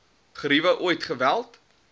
griewe ooit geweld